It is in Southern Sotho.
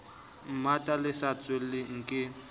mmata le sa tshelweng ke